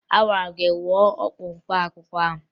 Agwara m gị ṅụọ ọgwụ mkpaakwụkwọ ahụ!